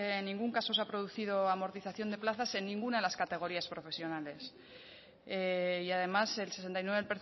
en ningún caso se ha producido amortización de plazas en ninguna de las categorías profesionales y además el sesenta y nueve